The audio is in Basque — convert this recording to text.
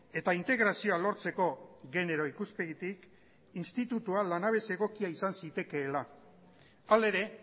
eta integrazioa lortzeko genero ikuspegitik institutua lanabes egokia izan zitekeela hala ere